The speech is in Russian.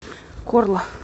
корла